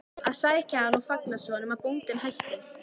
að sækja hann og fanga svo, nema bóndinn bætti.